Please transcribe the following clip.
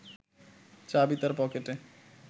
চাবি তাঁর পকেটে